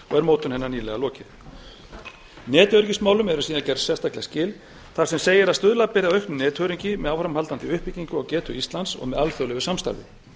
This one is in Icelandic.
mótun hennar nýlega lokið netöryggismálum er síðan gerð sérstaklega skil þar sem segir að stuðla beri að auknu netöryggi með áframhaldandi uppbyggingu á getu íslands með alþjóðlegu samstarfi